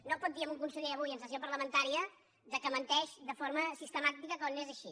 no pot dir a un conseller avui en sessió parlamentaria que menteix de forma sistemàtica quan no és així